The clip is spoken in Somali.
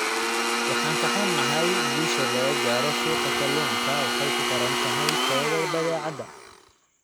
Waan ka xunnahay, guusha laga gaaro suuqa kalluunka waxay ku xiran tahay tayada badeecada.